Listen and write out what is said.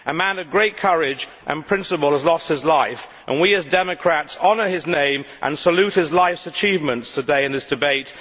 A man of great courage and principle has lost his life and we as democrats honour his name and salute his life's achievements today in this debate.